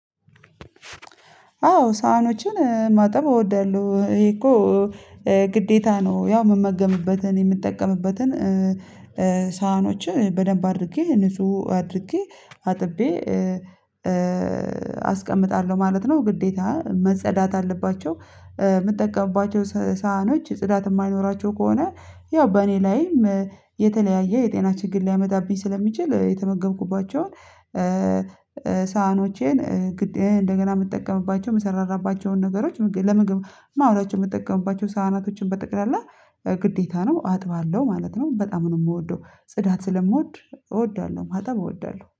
አዎ ሳህኖችን ማጠብ እወዳለሁ። ይሄ እኮ ግዴታ ነው። ያው ምመገብበትን የምጠቀምበትን ሳህኖች በደንብ አድርጌ ንጹህ አድርጌ አጥቤ አስቀምጣለሁ ማለት ነው። ግዴታ መጸዳት አለባቸው። ሳህኖች ጽዳት የማይኖራቸው ከሆነ ያው በእኔ ላይም የተለያየ የጤና ችግር ሊያመጣብኝ ስለሚችል። የተመገብኩባቸውን ሳህኖቼን እንደገና የምጠቀምባቸውን የምሰራራባቸውን ነገሮች ለምግብ ማወራቸው የምጠቀምባቸው ሳህናቶችን በጠቅላላ ግዴታ ነው አጥባለሁ ማለት ነው። በጣም ነው የምወደው ጽዳት ስለምወድ እወዳለሁ ማጠብ እወዳለሁ